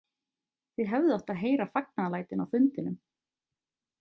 Þið hefðuð átt að heyra fagnaðarlætin á fundinum.